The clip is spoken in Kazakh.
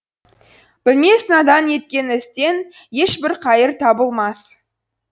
білмес надан еткен істен ешбір қайыр табылмас